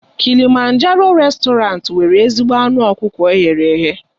Kilịmanjaroo réstọranti nwere ezigbo anụ ọkụkọ eghere eghe.